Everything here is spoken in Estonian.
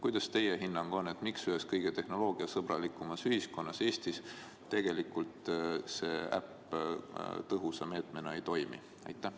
Mis on teie hinnang: miks ühes kõige tehnoloogiasõbralikumas ühiskonnas ehk Eestis see äpp tõhusa meetmena ei toimi?